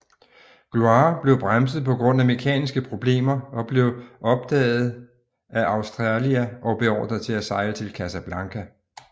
Gloire blev bremset på grund af mekaniske problemer og blev opdaget af Australia og beordret til at sejle til Casablanca